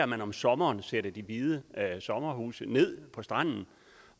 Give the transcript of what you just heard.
man om sommeren sætter hvide sommerhuse ned på stranden